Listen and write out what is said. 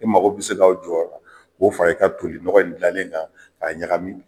E mago bi se ka jɔ a la, k'o fara, i ka toli nɔgɔn in dilalenna k'a ɲagami